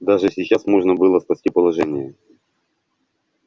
даже сейчас можно было спасти положение